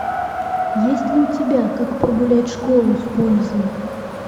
есть ли у тебя как прогулять школу с пользой